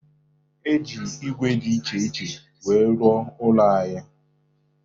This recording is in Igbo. E ji ígwè dị iche iche wee rụọ ụlọ anyị